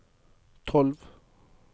tolv